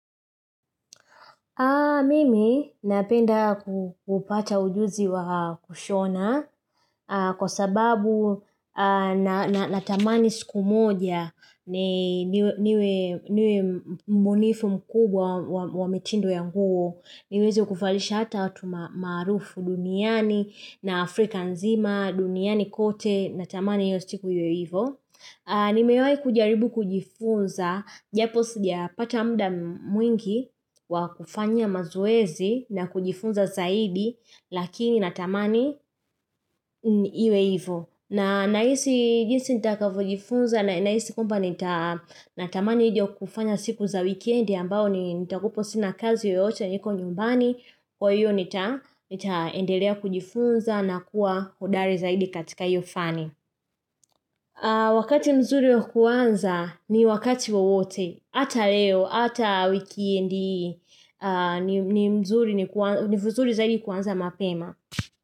Mimi napenda kupata ujuzi wa kushona kwa sababu natamani siku moja niwe mbunifu mkubwa wa mitindo ya nguo. Niweze kuvalisha hata watu maarufu duniani na Afrika nzima, duniani kote, natamani hiyo siku iwe hivo. Nimewai kujaribu kujifunza, japo sija pata muda mwingi wa kufanya mazoezi na kujifunza zaidi lakini natamani iwe hivo. Na nahisi jinsi nitakavyojifunza na nahisi kwamba nitatamani hiyo kufanya siku za wikendi ambao nitakwapo sina kazi yoyote niko nyumbani. Kwa hiyo nitaendelea kujifunza na kuwa hodari zaidi katika hiyo faani. Wakati mzuri wakuanza ni wakati wowote hata leo, hata wikendi ni vizuri zaidi kuanza mapema.